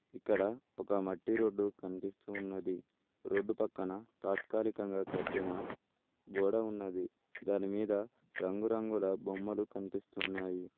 ఇక్కడ ఒక మట్టి రోడ్డు కనిపిస్తున్నది రోడ్డు పక్కన తాత్కాలికంగా కట్టిన గోడ ఉన్నది దానిమీద రంగురంగుల బొమ్మలు కనిపిస్తున్నాయి.